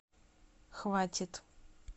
хватит